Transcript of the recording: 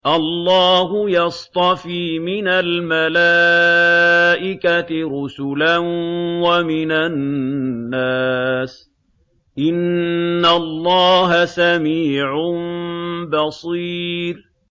اللَّهُ يَصْطَفِي مِنَ الْمَلَائِكَةِ رُسُلًا وَمِنَ النَّاسِ ۚ إِنَّ اللَّهَ سَمِيعٌ بَصِيرٌ